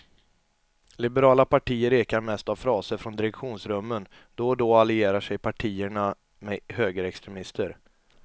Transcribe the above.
Liberala partier ekar mest av fraser från direktionsrummen, då och då allierar sig partierna med högerextremister.